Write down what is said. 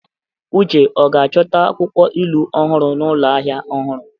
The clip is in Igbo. Uche ọ ga-achọta akwụkwọ ilu ọhụrụ n'ụlọ ahịa ọhụrụ?